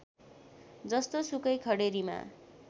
जस्तोसुकै खडेरीमा